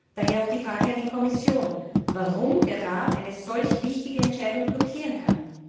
Daher auch die Frage an die Kommission, warum der Rat eine solch wichtige Entscheidung blockieren kann.